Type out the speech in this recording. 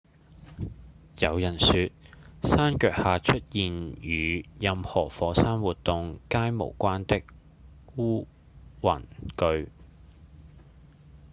有人說山腳下出現與任何火山活動皆無關的烏雲據